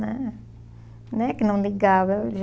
né. Não é que não ligava. Eu